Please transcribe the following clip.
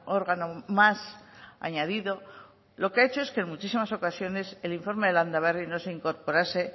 órgano más añadido lo que ha hecho que en muchísimas ocasiones el informe de landaberri no se incorporase